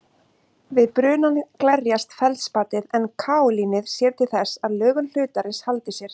Við brunann glerjast feldspatið en kaólínið sér til þess að lögun hlutarins haldi sér.